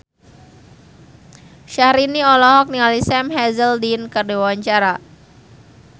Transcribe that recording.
Syahrini olohok ningali Sam Hazeldine keur diwawancara